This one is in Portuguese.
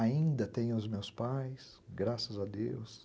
Ainda tenho os meus pais, graças a Deus.